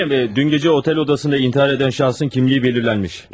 Komiserim, dün gəcə otel odasında intihar edən şahsın kimliyi belirlənmiş.